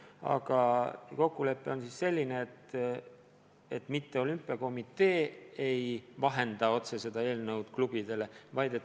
Aga kokkulepe on selline, et olümpiakomitee ei ole selle eelnõu puhul klubidega suhtlemisel vahendaja.